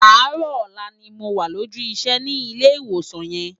Áàrò òlà ni mó wá lójú isè ni Ilè Iwósán yèn